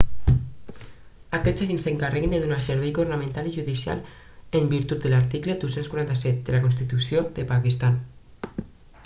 aquests agents s'encarreguen de donar servei governamental i judicial en virtut de l'article 247 de la constitució del pakistan